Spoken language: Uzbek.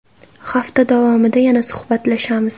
Hafta davomida yana suhbatlashamiz.